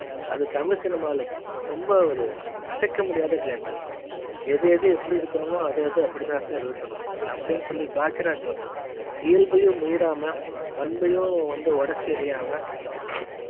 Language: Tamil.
அது தமிழ் cinema ல ரொம்ப ஒரு அசைக்க முடியாத claimax எது எது எப்புடி இருக்கணுமோ அது அது அப்டி தான் sir இருக்கணும் அப்டின்னு சொல்லி பாக்கியராஜ் இயல்பையும் மீறாம பண்ணையும் வந்து ஒடச்சு ஏரியாம